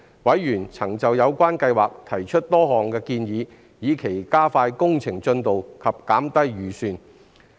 委員曾就有關計劃提出多項建議，以期加快工程進度及減低預算。